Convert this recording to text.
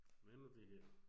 Hvad nu det her